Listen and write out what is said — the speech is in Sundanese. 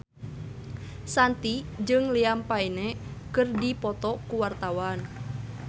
Shanti jeung Liam Payne keur dipoto ku wartawan